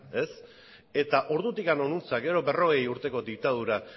eta ordutik hona gero berrogei urteko diktadura